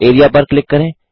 area पर click करें